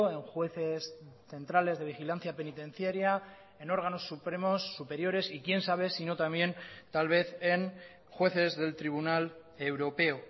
en jueces centrales de vigilancia penitenciaria en órganos supremos superiores y quién sabe si no también tal vez en jueces del tribunal europeo